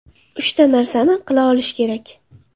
Uchta narsani qila olish kerak.